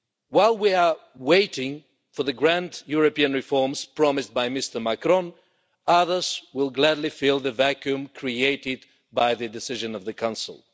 While we are waiting for the grand European reforms promised by Mr Macron, others will gladly fill the vacuum created by the decision of the Council.